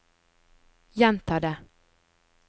gjenta det